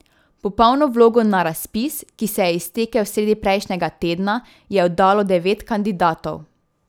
Popolno vlogo na razpis, ki se je iztekel sredi prejšnjega tedna, je oddalo devet kandidatov.